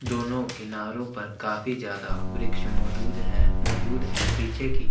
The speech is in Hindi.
दोनों किनारो पर काफी जायदा वृक्ष मदूद है मजूद है पीछे की--